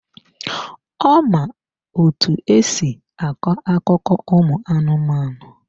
Ọ ma otú e si akọ akụkọ ụmụ anụmanụ.